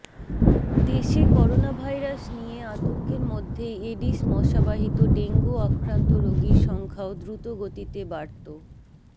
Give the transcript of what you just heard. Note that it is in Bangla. দেশে করোনাভাইরাস নিয়ে আতঙ্কের মধ্যেই এডিশ মশাবাহিত ডেঙ্গু আক্রান্ত রোগীর সংখ্যাও দ্রুত গতিতে বাড়ত